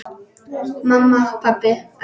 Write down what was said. Mamma, pabbi æpti hún.